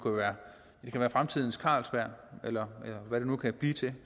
være fremtidens carlsberg eller hvad det nu kan blive til